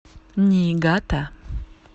ниигата